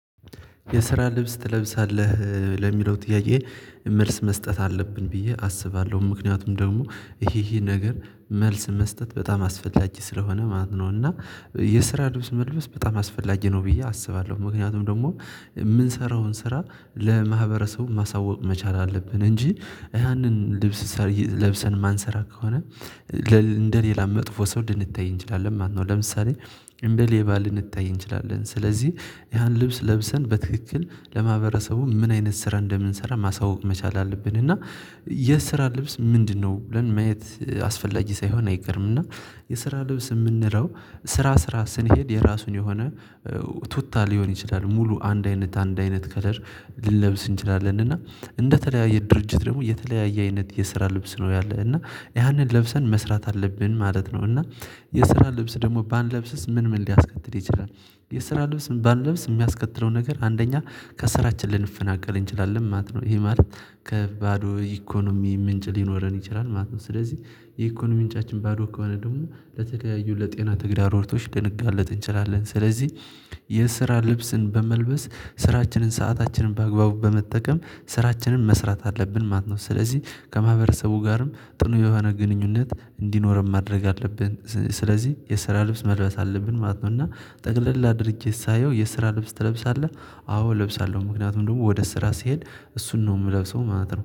የስራ ልብስ ትለብሳለህ ለሚለው ጥያቄ? መልስ መስጠት አለብን ብዬ አስባለሁ ምክንያቱም ደግሞ ይሄ ይሄ ነገር መልስ መስጠት በጣም አስፈላጊ ስለሆነ ማለት ነው። እና የስራ ልብስ መልበስ በጣም አስፈላጊ ነው ብዬ አስባለሁ። ምክንያቱም ደግሞ የምንሰራውን ስራ ለማህበረሰቡ ማሳወቅ መቻል አለብን እንጂ ያንን ልብስ ለብሰን የማንሰራ ከሆነ እንደ ሌላ መጥፎ ሰው ልንታይ እንችላለን ማለት ነው። ለምሳሌ እንደ ሌባ ልንታይ እንችላለን። ስለዚህ ያንን ልብስ ለብሰን በትክክል ለማህበረሰቡ ምን አይነት ስራ እንደምንሰራ ማሳወቅ መቻል አለብን። እና የስራ ልብስ ምንድነው? ብለን ማየት አስፈላጊ ሳይሆን አይቀርም። እና የስራ ልብስ የምንለወው ስራ ስራ ስንሄድ የራሱን የሆነ ቱታ ሊሆን ይችላል። ሙሉ አንድ አይነት አንድ አይነት ከለር ልንለብስ እንችላለን። እና እንደ ተለያየ ድርጅት ደግሞ የተለያየ አይነት የስራ ልብስ ነው ያለ እና ያንን ለብሰን መስራት አለብን ማለት ነው። እና የስራ ልብስ ደግሞ ባንለብስ ምን ምን ሊያስከትል ይችላል? የስራ ልብስ ምን ባንለብስ የሚያስከትለው ነገር አንደኛ ከስራችን ልንፈናቀል እንችላለን ማለት ነው። ይሄ ማለት ከባዶ ኢኮኖሚ ምንጭ ሊኖረን ይችላል ማለት ነው። ስለዚህ የኢኮኖሚ ምንጫችን ባዶ ከሆነ ደግሞ ለተለያዩ ለጤና ተግዳሮቶች ልንጋለጥ እንችላለን። ስለዚህ የስራ ልብስን በመልበስ ስራችንን ሰአታችንን በአግባቡ በመጠቀም ስራችንን መስራት አለብን ማለት ነው። ስለዚህ ከማህበረሰቡ ጋርም ጥሩ የሆነ ግንኙነት እንዲኖረን ማድረግ አለብን ስለዚህ የስራ ልብስ መልበስ አለብን ማለት ነው። እና ጠቅለላ አድርጌ ሳየው የስራ ልብስ ትለብሳለህ? አዎ እለብሳለሁ ምክንያቱም ደግሞ ወደ ስራ ስሄድ እሱን ነው የምለብሰው ማለት ነው